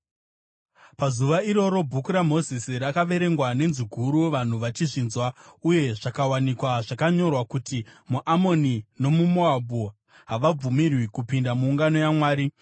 Pazuva iroro Bhuku raMozisi rakaverengwa nenzwi guru vanhu vachizvinzwa uye zvakawanikwa zvakanyorwa kuti muAmoni nomuMoabhu havabvumirwi kupinda muungano yaMwari,